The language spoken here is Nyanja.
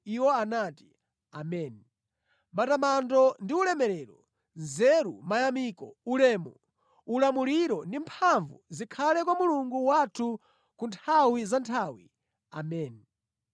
Iwo anati, “Ameni! Matamando ndi ulemerero, nzeru, mayamiko, ulemu, ulamuliro ndi mphamvu zikhale kwa Mulungu wathu kunthawi zanthawi, Ameni!”